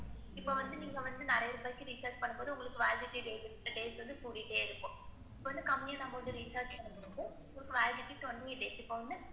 இப்ப வந்து நீங்க வந்து நிறைய ரூபாய்க்கு recharge பண்ணும் போது உங்களுக்கு validity date, date வந்து கூடிகிட்டே இருக்கும். இப்ப வந்து கம்மியா நம்ப வந்து recharge பண்ணும் போது validity twenty days இப்ப வந்து,